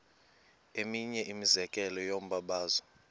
eminye imizekelo yombabazo